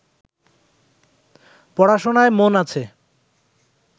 পড়াশোনায় মন আছে